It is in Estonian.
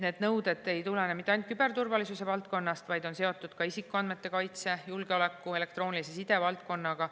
Need nõuded ei tulene mitte ainult küberturvalisuse valdkonnast, vaid on seotud ka isikuandmete kaitse, julgeoleku ja elektroonilise side valdkonnaga.